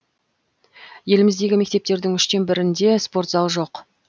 еліміздегі мектептердің үштен бірінде спорт зал жоқ